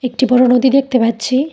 একটি বড়ো নদী দেখতে পাচ্ছি।